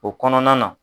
O kɔnɔna na